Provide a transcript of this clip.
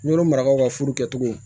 N'olu marabagaw ka furu kɛcogow